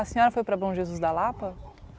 A senhora foi para o Bom Jesus da Lapa?